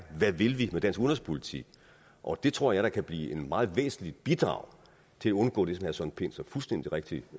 hvad vil vi med dansk udenrigspolitik og det tror jeg da kan blive et meget væsentligt bidrag til at undgå det som pind så fuldstændig rigtigt